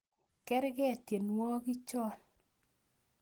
Kerke tienwogi chon